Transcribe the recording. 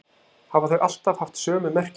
Hafa þau alltaf haft sömu merkingu?